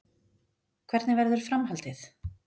Hvernig verður framhaldið?